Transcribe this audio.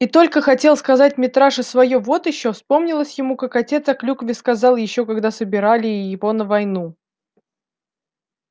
и только хотел сказать митраша своё вот ещё вспомнилось ему как отец о клюкве сказал ещё когда собирали его на войну